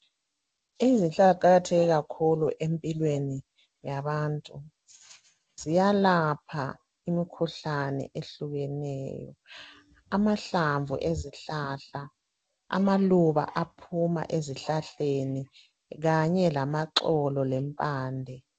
izihlahla ziqakatheke kakhulu empilweni yabantu ziyalapha imikhuhlane ehlukeneyo amahlamvu ezihlahla amaluba aphuma ezihlahleni kanye lamaxolo lempande